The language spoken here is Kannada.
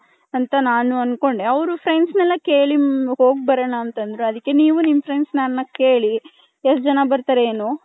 ಅಂತ ನಾನು ಅಂದ್ಕೊಂಡೆ ಅವರು friends ನಲ್ಲ ಕೆಲ್ಲಿ ಹೋಗ್ ಬರೋಣ ಅಂತಂದ್ರು ಅದಿಕ್ಕೆ ನೀವು ನಿಮ್ಮ friends ಕೇಳಿ ಎಷ್ಟ್ ಜನ ಬರ್ತಾರೆ ಏನು .